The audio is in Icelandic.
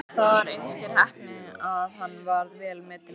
Það var einskær heppni að hann varð vel metinn lögmaður.